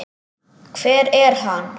Hvar er hann?